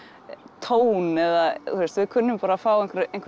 tón eða þú veist við kunnum bara að fá